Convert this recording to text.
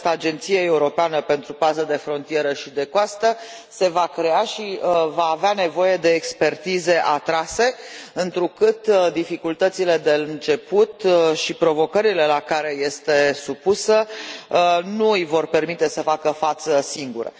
Această Agenție Europeană pentru Paza de Frontieră și de Coastă se va crea și va avea nevoie de expertize atrase, întrucât dificultățile de început și provocările la care este supusă nu îi vor permite să facă față singură.